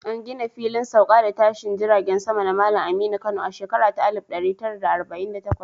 An gina Filin Sauka da Tashine Jiragen Sama na Malam Aminu Kano a shekara ta 1948